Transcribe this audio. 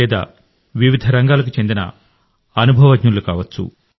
లేదా వివిధ రంగాలకు చెందిన అనుభవజ్ఞులు కావచ్చు